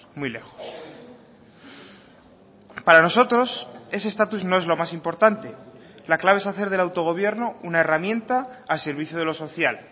muy lejos para nosotros ese estatus no es lo más importante la clave es hacer del autogobierno una herramienta al servicio de lo social